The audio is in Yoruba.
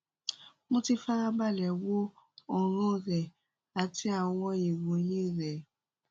mo ti farabalẹ wo ọràn rẹ àti àwọn ìròyìn rẹ